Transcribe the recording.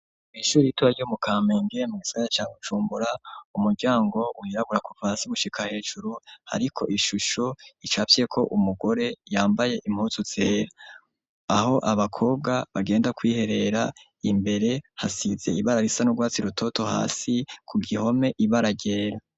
Mwishuri ritoya ryo mu Kamenge mu gisagara ca Bujumbura, umuryango wirabura ku vasi gushika hejuru, ariko ishusho icafye ko umugore yambaye impuzu zera aho abakobwa bagenda kwiherera imbere hasize ibara risa n'urwatsi rutoto hasi ku gihome ibara ryera.